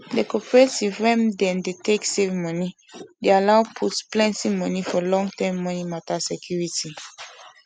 the cooperative wey them dey take save money dey allow put plenty money for longterm money matter security